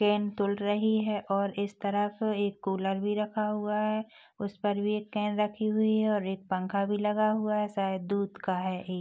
can तूल रही हैं और इस तरफ एक कूलर भी रखा हुआ हैं उस पर भी एक कैन रखी हुई हैं और एक पंखा भी लगा हुआ हैं शायद दूध का हैं ये--